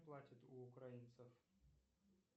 платит у украинцев